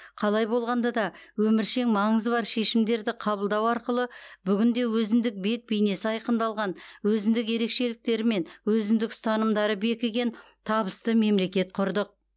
қалай болғанда да өміршең маңызы бар шешімдерді қабылдау арқылы бүгінде өзіндік бет бейнесі айқындалған өзіндік ерекшеліктері мен өзіндік ұстанымдары бекіген табысты мемлекет құрдық